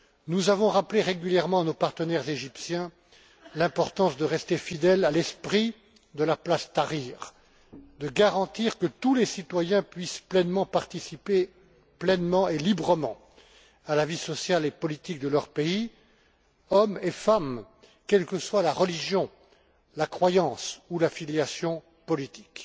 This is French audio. Nous avons rappelé régulièrement à nos partenaires égyptiens l'importance de rester fidèles à l'esprit de la place Tahrir, de garantir que tous les citoyens puissent participer pleinement et librement à la vie sociale et politique de leur pays, hommes et femmes, quelle que soit la religion, la croyance ou l'affiliation politique.